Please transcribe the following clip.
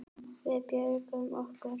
Við björgum okkur.